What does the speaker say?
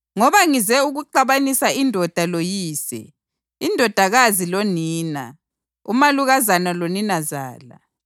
Ngoba ngize ukuxabanisa ‘indoda loyise, indodakazi lonina umalukazana loninazala,